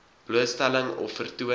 blootstelling of vertoon